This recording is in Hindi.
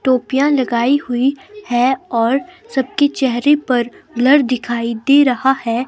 टोपियां लगाई हुई है और सबके चेहरे पर ब्लर दिखाई दे रहा है।